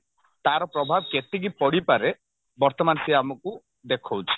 ତାର ପ୍ରଭାବ କେତିକି ପଡିପାରେ ବର୍ତମାନ ସେ ଆମକୁ ଦେଖଉଛି